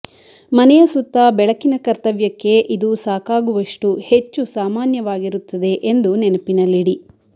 ಮನೆಯ ಸುತ್ತ ಬೆಳಕಿನ ಕರ್ತವ್ಯಕ್ಕೆ ಇದು ಸಾಕಾಗುವಷ್ಟು ಹೆಚ್ಚು ಸಾಮಾನ್ಯವಾಗಿರುತ್ತದೆ ಎಂದು ನೆನಪಿನಲ್ಲಿಡಿ